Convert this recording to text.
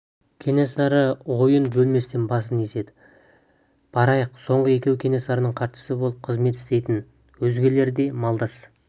кенесары ойын бөлместен басын изеді барайық соңғы екеуі кенесарының хатшысы болып қызмет істейтін өзгелер де малдас